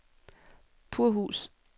Purhus